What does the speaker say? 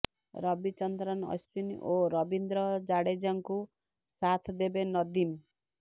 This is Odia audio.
ରବିଚନ୍ଦ୍ରନ ଅଶ୍ୱିନ୍ ଓ ରବୀନ୍ଦ୍ର ଜାଡେଜାଙ୍କୁ ସାଥ୍ ଦେବେ ନଦୀମ